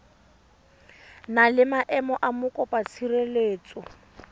na le maemo a mokopatshireletso